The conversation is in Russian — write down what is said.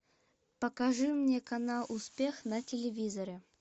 покажи мне канал успех на телевизоре